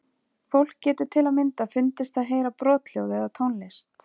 Fólk getur til að mynda fundist það heyra brothljóð eða tónlist.